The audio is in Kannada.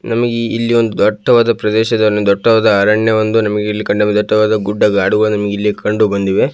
ನಮಗೆ ಇಲ್ಲಿ ಒಂದು ದಟ್ಟವಾದ ಪ್ರದೇಶ ದಟ್ಟವಾದ ಅರಣ್ಯ ಒಂದು ನಮಗೆ ಇಲ್ಲಿ ಕಂಡುಬಂದಿ ದಟ್ಟವಾದ ಗುಡ್ಡನಮಗೆ ಗಾಡುಗಳು ಇಲ್ಲಿ ಕಂಡು ಬಂದಿವೆ.